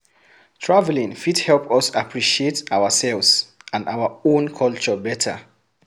Traveling fit help us appreciate ourselves and our own culture better